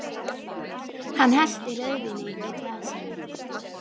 Hann hellti rauðvíni í glasið mitt.